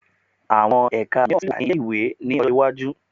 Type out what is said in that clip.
Àwọn ẹka mìíràn tún lè wà ní ilé-ìwé ní ọjọ́ iwájú